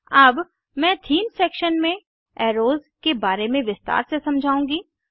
अब मैं theme section में एर्रोस के बारे में विस्तार से समझाउंगी